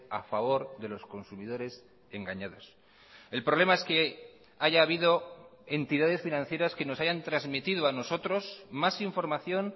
a favor de los consumidores engañados el problema es que haya habido entidades financieras que nos hayan transmitido a nosotros más información